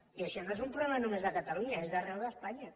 i això no és un problema només de catalunya és d’arreu d’espanya